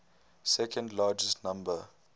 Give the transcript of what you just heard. second largest number